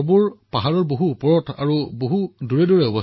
প্ৰধানমন্ত্ৰীঃ কিন্তু পাহাৰততো মানুহৰ ঘৰবোৰ দূৰে দূৰে থাকে